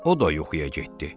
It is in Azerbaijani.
O da yuxuya getdi.